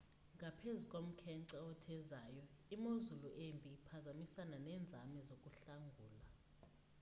ngaphezu komkhenkce othezayo imozulu embi ibiphazamisana nenzame zokuhlangula